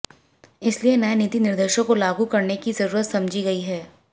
इसलिए नए नीति निर्देशों को लागू करने की जरूरत समझी गई है